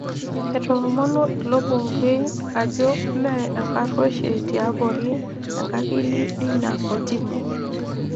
Etoomonuo ilo bungei ajo mee enkarueshie tiabori enkakili eina kotini.